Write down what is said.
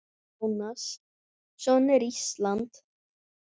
Jónas: Svona er Ísland?